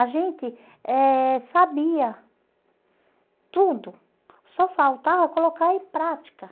A gente eh sabia tudo, só faltava colocar em prática.